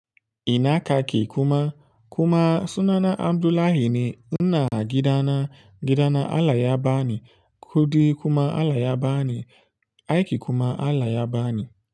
Ina ka ke kuma? Kuma sunana Abdullahi ne. Ina gida na, gifa na Allah ya bani kuɗi kuma Allah yabani aiki kuma Allah yaba ni.